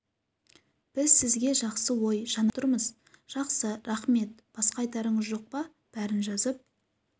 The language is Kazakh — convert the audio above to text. біз сізге жақсы ой жанашыр ниетпен хабарласып тұрмыз жақсы рақмет басқа айтарыңыз жоқ па бәрін жазып